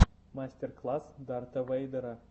мастер класс дарта вэйдера